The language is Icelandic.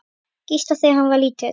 Gísla, þegar hann var lítill.